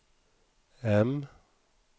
M